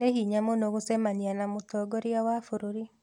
Nĩ hinya mũno gũcemania na mũtongoria wa bũrũri